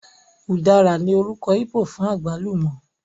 Ùdára ní orúkọ íbò fún àgbálùmọ́